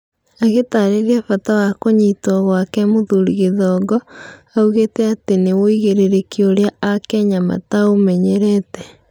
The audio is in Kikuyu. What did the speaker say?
Agĩtarĩria bata wa kũnyitwo gwake mũthuri Gĩthongo, augĩte atĩ nĩ wũigĩrĩrĩki ũrĩa aKenya mataũmenyerete.